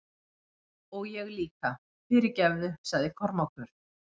Og ég líka, fyrirgefðu, sagði Kormákur.